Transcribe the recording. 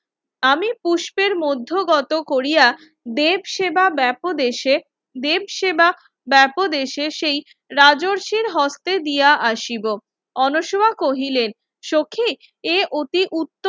আমি পুষ্পের মধ্য গত কোরিয়া দেবসেবা বাবদেশে দেবসেবা বাবদেশে সেই রাজস্বীর হস্তে দিয়া আসিব অনশ্বমা কহিলেন সখি এ অতি উত্তম